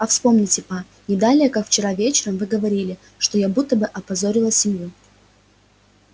а вспомните па не далее как вчера вечером вы говорили что я будто бы опозорила семью